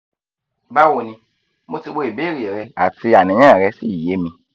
bawoni mo ti wo ibeere re ati aniyan re si ye mi